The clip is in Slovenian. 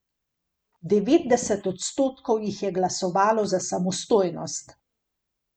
Devetdeset odstotkov jih je glasovalo za samostojnost.